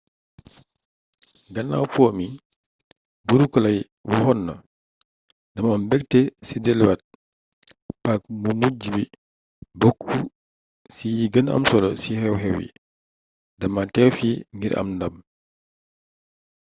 gannaaw po mi buuru clay waxonna dama am mbëgte ci deluci waat paac mu mujju bi bokku ci yi gën am solo ci xew-xew yi dama teew fii ngir am ndam